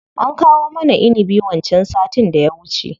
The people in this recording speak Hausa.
An kawo mana inibi wancan sattin da ya wuce.